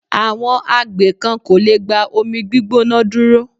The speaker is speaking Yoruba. Àwọn agbè kan kò lẹ̀ gba omi gbígbóná dúró.